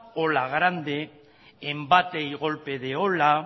ola grande embate y golpe de ola